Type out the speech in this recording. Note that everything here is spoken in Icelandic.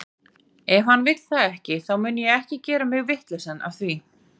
Ef hann vill það ekki, þá mun ég ekki gera mig vitlausan af því.